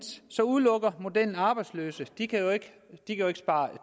udelukker modellen arbejdsløse de kan jo ikke spare